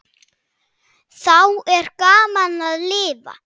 Þá er gaman að lifa!